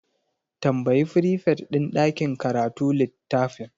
Tambayi frifet din ɗakin karatu littafin.